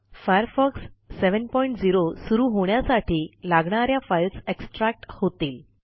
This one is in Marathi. फायरफॉक्स 70 सुरू होण्यासाठी लागणा या फाईल्स एक्स्ट्रॅक्ट होतील